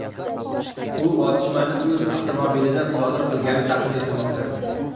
U otishmani o‘z avtomobilidan sodir qilgani taxmin etilmoqda.